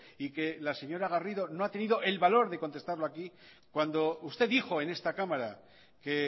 y que la señora garrido no ha tenido el valor de contestarlo aquí cuando usted dijo en esta cámara que